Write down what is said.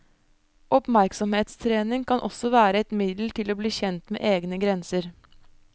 Oppmerksomhetstrening kan også være et middel til å bli kjent med egne grenser.